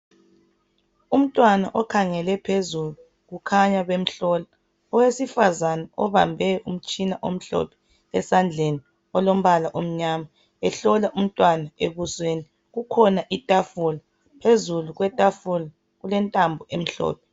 Umntwana okhangele phezulu ukhanya bemhlola owesifazane obambe umtshina omhlophe esandleni olombala omnyama ehlola umntwana ebusweni kukhona itakula phezulu kwetafula kulentambo emhlophe.